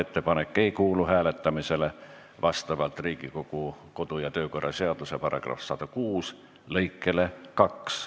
Ettepanek ei kuulu hääletamisele vastavalt Riigikogu kodu- ja töökorra seaduse § 106 lõikele 2.